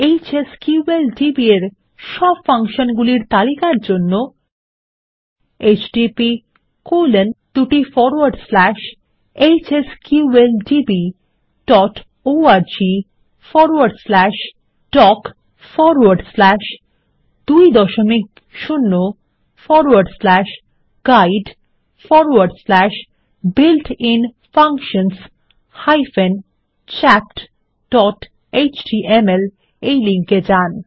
HSQLDB -এর সব function গুলির তালিকার জন্য httphsqldborgdoc20guidebuiltinfunctions chapthtml তে যান